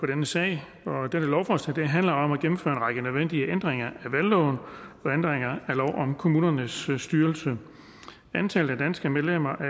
denne sag dette lovforslag handler om at gennemføre en række nødvendige ændringer af valgloven og ændringer af lov om kommunernes styrelse antallet af danske medlemmer af